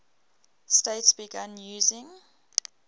states began using